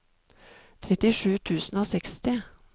trettisju tusen og seksti